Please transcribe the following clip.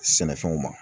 Sɛnɛfɛnw ma